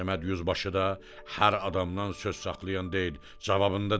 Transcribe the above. Səməd yüzbaşı da hər adamdan söz saxlayan deyil, cavabında deyir: